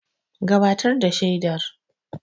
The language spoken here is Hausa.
Gabatar da shaidar.